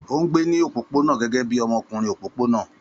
Ó ń gbé ní òpópónà gẹ́gẹ́ bí ọmọkùnrin òpópónà